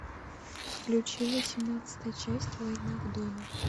включи восемнадцатая часть война в доме